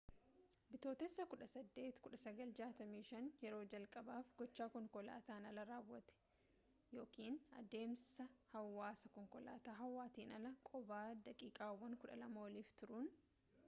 bitootessa 18 1965 yeroo jalqabaaf gochaa konkolataan alaa raawwate eva yookaan deemsa hawwaarraa” konkolaataa hawaatiin ala qobaa daqiiqaawwan 12 oliif turuun